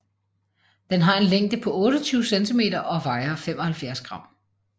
Den har en længde på 28 cm og vejer 75 gram